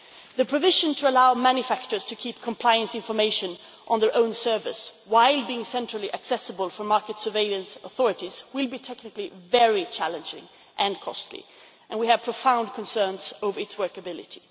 The provision to allow manufacturers to keep compliance information on their own service, while being centrally accessible for market surveillance authorities, will be technically very challenging and costly and we have profound concerns over its workability.